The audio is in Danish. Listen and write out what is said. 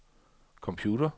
computer